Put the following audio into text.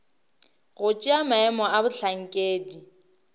go tšea maemo a bohlankedi